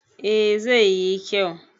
eh zai yi kyau